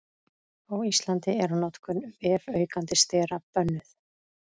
Á Íslandi er notkun vefaukandi stera bönnuð.